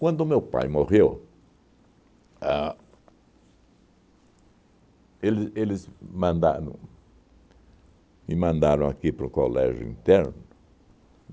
Quando o meu pai morreu, a ele eles mandaram me mandaram aqui para o colégio interno.